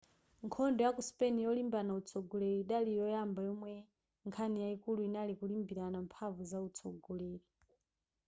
nkhondo yaku spain yolimbirana utsogoleri idali yoyamba yomwe nkhani yayikulu inali kulimbirana mphamvu zautsogoleri